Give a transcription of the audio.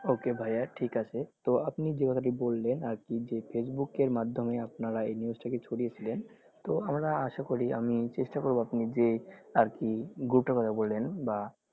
Okay ভাইয়া ঠিক আছে তো আপনি যেই কথাটি বললেন আরকি যে facebook এর মাধ্যমে আপনারা এই news টাকে ছড়িয়েছিলেন তো আমরা আশা করি যে চেষ্টা করবো আরকি group টার কোথা বললেন বা,